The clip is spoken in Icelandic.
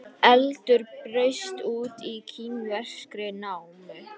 Eldur braust út í kínverskri námu